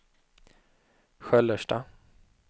Sköllersta